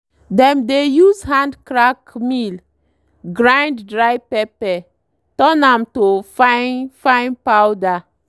dem dey use hand crank mill grind dry pepper turn am to fine fine powder.